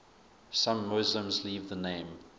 some muslims leave the name